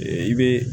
I bɛ